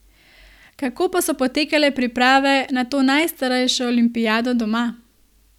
Kako pa so potekale priprave na to najstarejšo olimpijado doma?